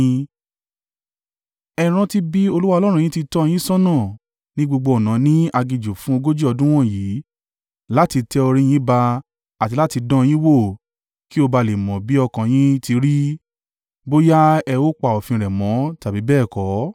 Ẹ rántí bí Olúwa Ọlọ́run yín ti tọ́ ọ yín ṣọ́nà ní gbogbo ọ̀nà ní aginjù fún ogójì ọdún wọ̀nyí láti tẹ orí yín ba àti láti dán an yín wò kí ó ba à le mọ bí ọkàn yín ti rí, bóyá ẹ ó pa òfin rẹ̀ mọ́ tàbí bẹ́ẹ̀ kọ́.